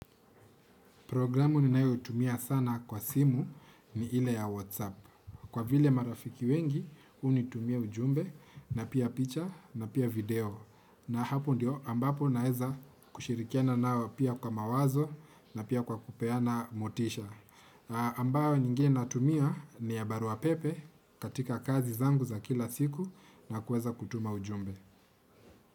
Programu ninayotumia sana kwa simu ni ile ya Whatsapp. Kwa vile marafiki wengi, unitumia ujumbe na pia picha na pia video. Na hapo ndio ambapo naweza kushirikiana nao, pia kwa mawazo, na pia kwa kupeana motisha. Ambayo nyingine natumia ni ya baruapepe katika kazi zangu za kila siku na kuweza kutuma ujumbe.